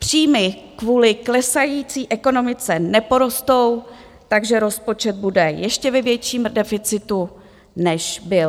Příjmy kvůli klesající ekonomice neporostou, takže rozpočet bude ještě ve větším deficitu, než byl.